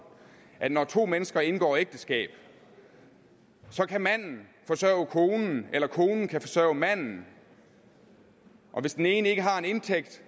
at når to mennesker indgår ægteskab kan manden forsørge konen eller konen kan forsørge manden og hvis den ene ikke har en indtægt